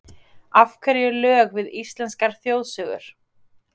Af hverju lög við íslenskar þjóðsögur?